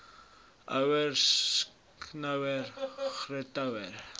ouer skoonouer grootouer